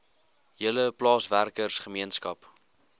hele plaaswerker gemeenskap